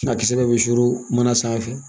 A kisɛ bɛɛ bɛ su mana sanfɛ